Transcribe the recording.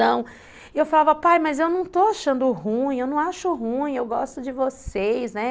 E eu falava, pai, mas eu não estou achando ruim, eu não acho ruim, eu gosto de vocês, né.